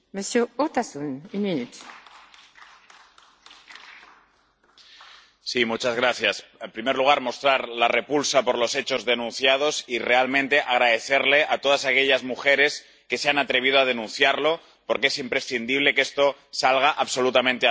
Señora presidenta, en primer lugar, mostrar la repulsa por los hechos denunciados y realmente dar las gracias a todas aquellas mujeres que se han atrevido a denunciarlo, porque es imprescindible que esto salga absolutamente a la luz.